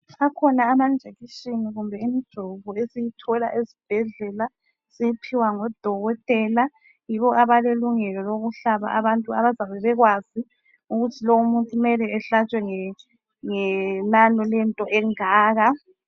Akhona ama njekisheni kumbe imijovo esiyithola esibhedlela siyiphiwa ngodokotela, yibo abalelungelo lokuhlaba abantu. Abazabe bekwazi ukuthi lowumuntu mele ehlatshwe ngenano lento engaka.